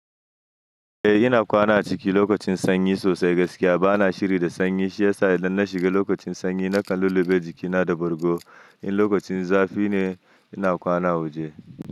Eh ina kwana a ciki lokacin sanyi sosai gaskiya bana shiri da sanyi shi yasa idan na shiga lokacin sanyi nakan lulluɓe jikina da bargo in lokacin zafi ne ina kwana waje.